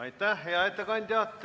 Aitäh, hea ettekandja!